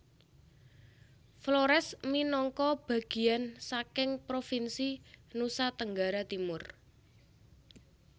Flores minangka bageyan saking provinsi Nusa Tenggara Timur